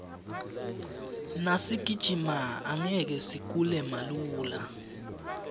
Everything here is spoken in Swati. nasigijima angeke sigule malula